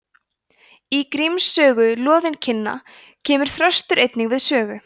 í gríms sögu loðinkinna kemur þröstur einnig við sögu